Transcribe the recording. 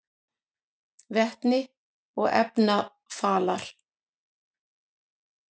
Vetni og efnarafalar: